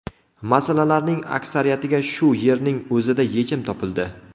Masalalarning aksariyatiga shu yerning o‘zida yechim topildi.